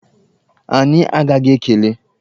Anyị agaghị ekele!